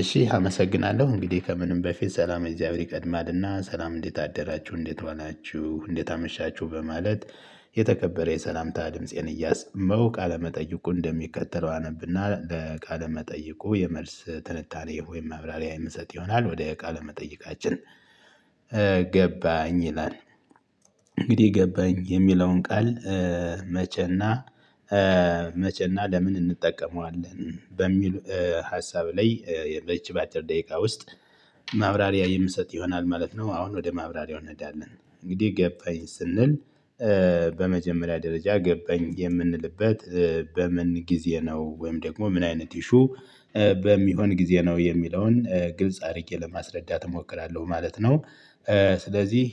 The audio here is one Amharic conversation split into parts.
እሺ አመሰግናለሁ እንግዲህ ከምንም በፊት ሰላም እግዚአብሔር ይቀድማልና። ሰላም እንዴት አደራችሁ እንዴት ዋላችሁ እንዴት አመሻችሁ በማለት የተከበረ የሰላምታ ድምፄን እያሰማሁ ቃለ መጠየቁ እንደሚከተለው አነብና ለቃለ መጠይቁ የመልስ ትንታኔ ወይም መብራሪያ የምሰጥ ይሆናል ወደ ቃለ መጠይቃችን። ገባኝ ይላል። እንግዲህ ገባኝ የሚለውን ቃል። መቸና መቼና ለምን እንጠቀመዋለን በሚሉ ሀሳብ ላይ። በዚች ባደር ደቂቃ ውስጥ ማብራሪያ የምሰጥ ይሆናል ማለት ነው። አሁን ወደ ማብራሪያው እንሄዳለን እንግዲህ ገባኝ ስንል። በመጀመሪያ ደረጃ ገባኝ የምንልበት በምን ጊዜ ነው? ወይም ደግሞ ምን አይነት ኢሹ በሚሆን ጊዜ ነው። የሚለውን ግልጽ አድርጌ ለማስረዳት እሞክራለሁ ማለት ነው። ስለዚህ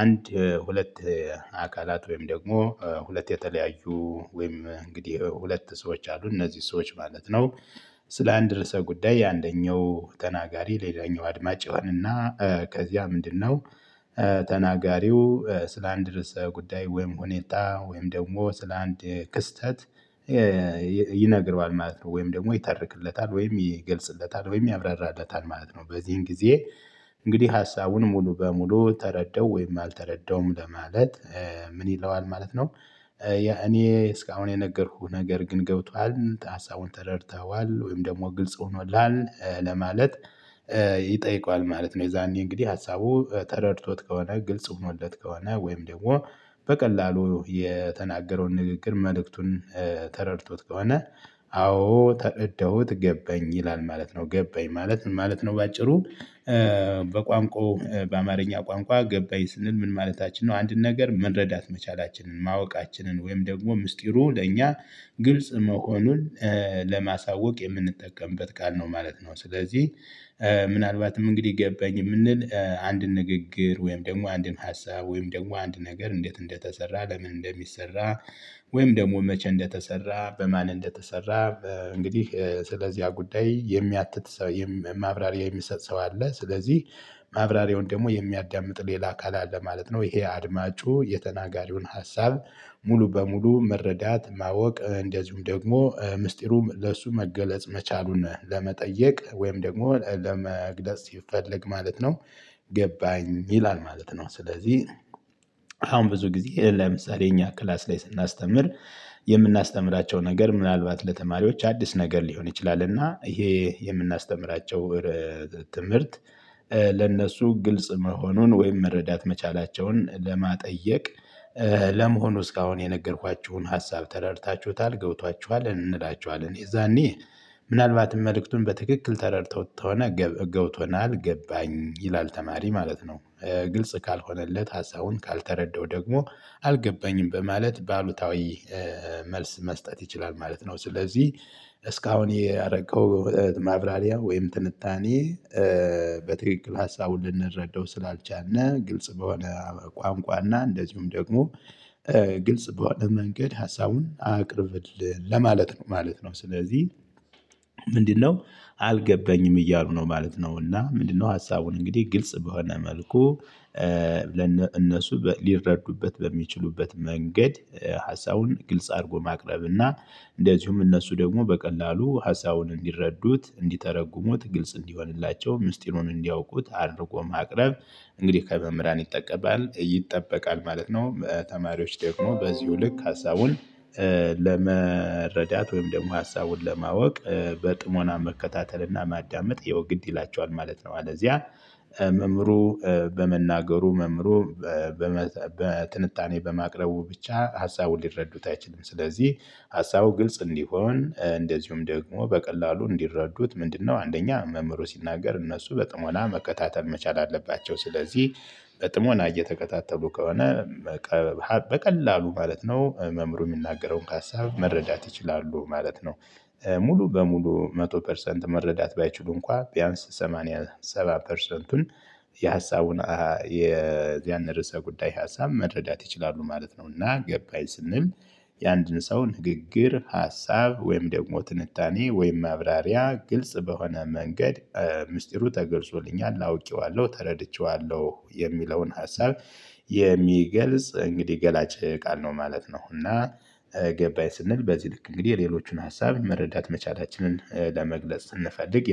አንድ ሁለት አካላት ወይም ደግሞ ሁለት የተለያዩ ወይም እንግዲህ ሁለት ሰዎች አሉ እነዚህ ሰዎች ማለት ነው። ስለ አንድ ርዕሰ ጉዳይ አንደኛው ተናጋሪ ሌላኛው አድማጭ ይሆንና ከዚያ ምንድነው? ተናጋሪው ስላንድ ርዕሰ ጉዳይ ወይም ሁኔታ ወይም ደግሞ ስለ አንድ ክስተት ይነግረዋል ማለት ነው። ወይም ደግሞ ይተርክለታል ወይም ይገልጽለታል ወይም ያብራራለታል ማለት ነው። በዚህም ጊዜ እንግዲህ ሀሳቡን ሙሉ በሙሉ ተረዳው ወይም አልተረዳውም ለማለት ምን ይለዋል ማለት ነው። ያ እኔ እስካሁን የነገርኩህ ነገር ግን ገብቶሀል ሀሳቡን ተረድተኋዋል ወይም ደግሞ ግልጽ ሆኖልሃል ለማለት ይጠይቀዋል ማለት ነው። የዛኔ እንግዲህ ሀሳቡ ተረድቶት ከሆነ ግልጽ ሆኖለት ከሆነ ወይም ደግሞ በቀላሉ የተናገረውን ንግግር መልእክቱን ተረድቶት ከሆነ አዎ ተረዳውት ገባኝ ይላል ማለት ነው። ገባኝ ማለት ምን ማለት ነው? በአጭሩ። በቋንቋው በአማርኛ ቋንቋ ገባኝ ስንል ምን ማለታችን ነው አንድን ነገር መረዳት መቻላችንን ማወቃችንን ወይም ደግሞ ምስጢሩ ለእኛ ግልጽ መሆኑን ለማሳወቅ የምንጠቀምበት ቃል ነው ማለት ነው። ስለዚህ ምናልባትም እንግዲህ ገባኝ የምንል አንድን ንግግር ወይም ደግሞ አንድን ሀሳብ ወይም ደግሞ አንድ ነገር እንዴት እንደተሰራ ለምን እንደሚሰራ። ወይም ደግሞ መቼ እንደተሰራ በማን እንደተሰራ እንግዲህ ስለዚህ ያ ጉዳይ የሚያትት ሰው ማብራሪያ የሚሰጥ ሰው አለ። ስለዚህ ማብራሪያውን ደግሞ የሚያዳምጥ ሌላ አካል አለ ማለት ነው። ይሄ አድማጩ የተናጋሪውን ሀሳብ ሙሉ በሙሉ መረዳት ማወቅ እንደዚሁም ደግሞ ምስጢሩ ለእሱ መገለጽ መቻሉን ለመጠየቅ ወይም ደግሞ ለመግለጽ ሲፈልግ ማለት ነው። ገባኝ ይላል ማለት ነው። ስለዚህ አሁን ብዙ ጊዜ ለምሳሌ እኛ ክላስ ላይ ስናስተምር። የምናስተምራቸው ነገር ምናልባት ለተማሪዎች አዲስ ነገር ሊሆን ይችላል እና ይሄ የምናስተምራቸው ትምህርት ለነሱ ግልጽ መሆኑን ወይም መረዳት መቻላቸውን ለመጠየቅ። ለመሆኑ እስካሁን የነገርኳችሁን ሀሳብ ተረድታችሁታል ገብቷችኋል እንላቸዋለን? የዛኔ ምናልባትም መልእክቱን በትክክል ተረድተውት ከሆነ ገብቶናል ገባኝ ይላል ተማሪ ማለት ነው። ግልጽ ካልሆነለት ሀሳቡን ካልተረዳው ደግሞ አልገባኝም በማለት በአሉታዊ መልስ መስጠት ይችላል ማለት ነው። ስለዚህ እስካሁን ያደረከው ማብራሪያ ወይም ትንታኔ። በትክክል ሀሳቡን ልንረዳው ስላልቻልነ ግልጽ በሆነ ቋንቋና እንደዚሁም ደግሞ ግልጽ በሆነ መንገድ ሀሳቡን አቅርብልን ለማለት ነው ማለት ነው። ስለዚህ ምንድነው? አልገባኝም እያሉ ነው ማለት ነው? እና ምንድነው ሀሳቡን እንግዲህ ግልጽ በሆነ መልኩ። ለነ እነሱ ሊረዱበት በሚችሉበት መንገድ ሀሳቡን ግልጽ አድርጎ ማቅረብና እንደዚሁም እነሱ ደግሞ በቀላሉ ሀሳቡን እንዲረዱት እንዲተረጉሙት ግልጽ እንዲሆንላቸው ምስጢሩን እንዲያውቁት አድርጎ ማቅረብ። እንግዲህ ከመምህራን ይጠበቃል ማለት ነው። ተማሪዎች ደግሞሞ በዚሁ ልክ ሀሳቡን ለመረዳት ወይም ደግሞ ሀሳቡን ለማወቅ በጥሞና መከታተልና ማዳመጥ ያው ግድ ይላቸዋል ማለት ነው። ማለት አለበለዚያ መምህሩ በመናገሩ መምህሩ በትንታኔ በማቅረቡ ብቻ ሀሳቡን ሊረዱት አይችሉም። ስለዚህ ሀሳቡ ግልጽ እንዲሆን እንደዚሁም ደግሞ በቀላሉ እንዲረዱት ምንድነው አንደኛ መምህሩ ሲናገር እነሱ በጥሞና መከታተል መቻል አለባቸው። ስለዚህ በጥሞና እየተከታተሉ ከሆነ በቀላሉ ማለት ነው። መምሩ የሚናገረውን ሀሳብ መረዳት ይችላሉ ማለት ነው። ሙሉ በሙሉ መቶ ፐርሰንት መረዳት ባይችሉ እንኳን ቢያንስ ሰማኒያ ሰባት ፐርሰንቱን የሀሳቡን ያን ርዕሰ ጉዳይ ሀሳብ መረዳት ይችላሉ ማለት ነውና። ገባኝ ስንል። የአንድን ሰው ንግግር ሀሳብ ወይም ደግሞ ትንታኔ ወይም ማብራሪያ ግልጽ በሆነ መንገድ ምስጢሩ ተገልጾልኛል አውቄዋለሁ ተረድቼዋለሁ የሚለውን ሀሳብ። የሚገልጽ እንግዲህ ገላጭ ቃል ነው ማለት ነው። እና ገባኝ ስንል በዚህ ልክ እንግዲህ የሌሎቹን ሀሳብ መረዳት መቻላችንን ለመግለጽ ስንፈልግ